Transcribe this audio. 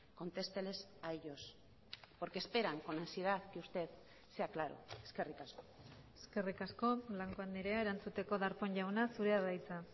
contesteles a ellos porque esperan con ansiedad que usted sea claro eskerrik asko eskerrik asko blanco andrea erantzuteko darpón jauna zurea da hitza